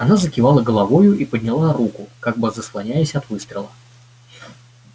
она закивала головою и подняла руку как бы заслоняясь от выстрела